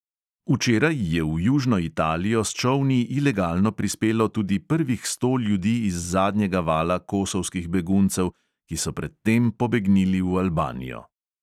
Včeraj je v južno italijo s čolni ilegalno prispelo tudi prvih sto ljudi iz zadnjega vala kosovskih beguncev, ki so pred tem pobegnili v albanijo.